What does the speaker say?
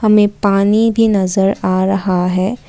में पानी भी नजर आ रहा है।